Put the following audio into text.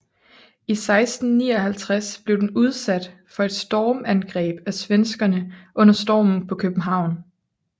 I 1659 blev den udsat for et stormangreb af svenskerne under Stormen på København